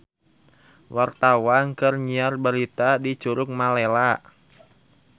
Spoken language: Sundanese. Wartawan keur nyiar berita di Curug Malela